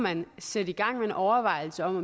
man sætte gang i en overvejelse om